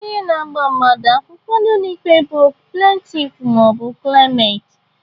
Onye ga-agba mmadụ akwụkwọ n'ụlọ ikpe bụ plentif ma ọ bụ klemant.